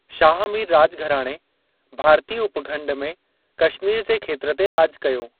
शाह मीर राॼघराणे भारतीय उपखंड में कश्मीर जे खेत्र ते राॼ कयो।